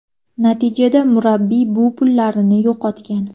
Natijada murabbiy bu pullarini yo‘qotgan.